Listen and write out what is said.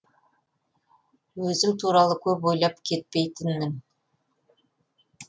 өзім туралы көп ойлап кетпейтінмін